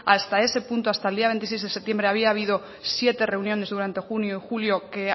hasta ese punto hasta el día veintiséis de septiembre había habido siete reuniones durante junio y julio que